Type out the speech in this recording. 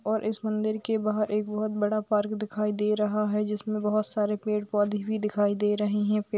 और इस मंदिर के बाहर एक बहुत बड़ा पार्क दिखाई दे रहा है जिसमें बहुत सारे पेड़ पौधे भी दिखाई दे रहे हैं पेड़--